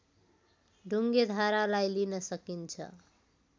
ढुङ्गेधारालाई लिन सकिन्छ